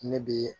Ne bi